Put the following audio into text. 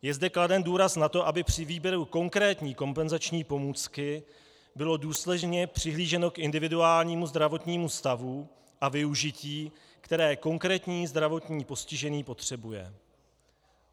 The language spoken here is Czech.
Je zde kladen důraz na to, aby při výběru konkrétní kompenzační pomůcky bylo důsledně přihlíženo k individuálnímu zdravotnímu stavu a využití, které konkrétní zdravotně postižený potřebuje.